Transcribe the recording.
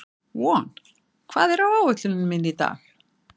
Von, hvað er á áætluninni minni í dag?